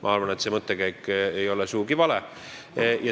Ma arvan, et see mõttekäik ei ole sugugi vale.